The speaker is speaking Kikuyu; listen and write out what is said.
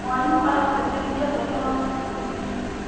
Mwarimũ aratĩtĩrithia bata wa ũthuthuria.